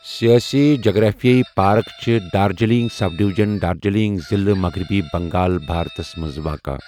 سیٲسی جغرافی یہِ پارَک چھَ دارجلنگ سب ڈویژن، دارجلنگ ضِلعہ، مغربی بنگال، بھارتَس منٛز واقعہ.